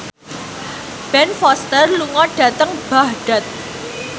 Ben Foster lunga dhateng Baghdad